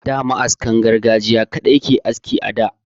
Da ma'askan gargajiya kaɗai ake aski a da.